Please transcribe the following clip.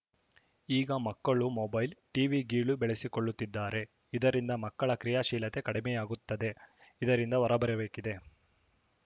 ಈಗ ಮಕ್ಕಳು mobile TV ಗೀಳು ಬೆಳೆಸಿಕೊಳ್ಳುತ್ತಿದ್ದಾರೆ ಇದರಿಂದ ಮಕ್ಕಳ ಕ್ರಿಯಾಶೀಲತೆ ಕಡಿಮೆಯಾಗುತ್ತದೆ ಇದರಿಂದ ಹೊರಬರಬೇಕಿದೆ